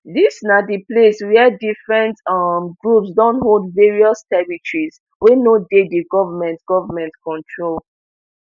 dis na di place wia different um groups don hold various territories wey no dey di goment goment control